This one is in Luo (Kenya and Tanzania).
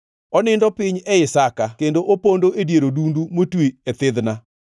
Onindo piny ei saka kendo opondo e dier odundu motwi e thidhna.